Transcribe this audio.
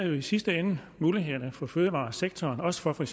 jo i sidste ende mulighederne for fødevaresektoren også for for